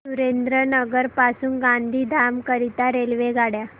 सुरेंद्रनगर पासून गांधीधाम करीता रेल्वेगाड्या